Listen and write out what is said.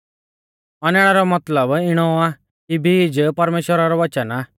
औनैणै रौ मतलब इणौ आ कि बीज परमेश्‍वरा रौ वच़न आ